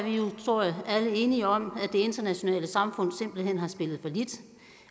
tror jeg alle enige om at det internationale samfund simpelt hen har spillet fallit